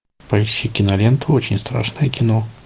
поищи киноленту очень страшное кино